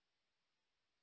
file টি বন্ধ করুন